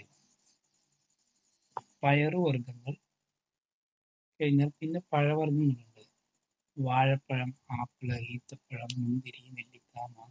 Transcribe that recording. പയർ വർഗ്ഗങ്ങൾ കഴിഞ്ഞാൽ പിന്നെ പഴ വർഗ്ഗങ്ങൾ ഉണ്ട്. വാഴപ്പഴം ആപ്പിൾ ഈന്തപ്പഴം മുന്തിരി നെല്ലിക്ക